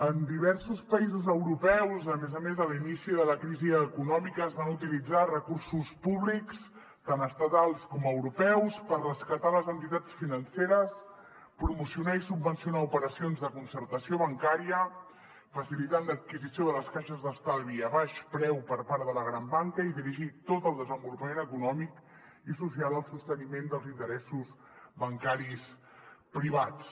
en diversos països europeus a més a més a l’inici de la crisi econòmica es van utilitzar recursos públics tant estatals com europeus per rescatar les entitats financeres promocionar i subvencionar operacions de concertació bancària facilitar l’adquisició de les caixes d’estalvi a baix preu per part de la gran banca i dirigir tot el desenvolupament econòmic i social al sosteniment dels interessos bancaris privats